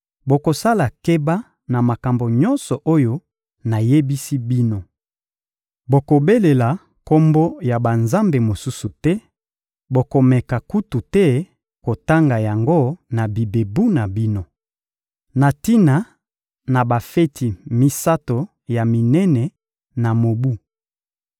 Bokosala keba na makambo nyonso oyo nayebisi bino. Bokobelela kombo ya banzambe mosusu te; bokomeka kutu te kotanga yango na bibebu na bino. Na tina na bafeti misato ya minene na mobu